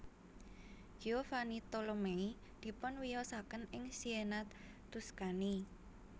Giovanni Tolomei dipunwiyosaken ing Siena Tuscany